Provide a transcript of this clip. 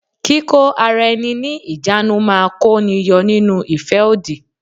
Kíkó ara ẹni ní ìjánu máa kó ni yọ nínú ìfẹ́ òdì.